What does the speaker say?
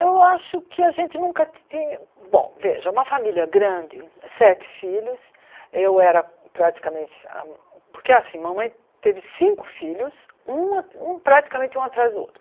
Eu acho que a gente nunca ti tinha... Bom, veja, uma família grande, sete filhos, eu era praticamente a... Porque, assim, mamãe teve cinco filhos, um a um praticamente um atrás do outro.